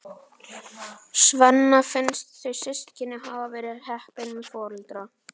Svenna finnst þau systkinin hafa verið heppin með foreldra.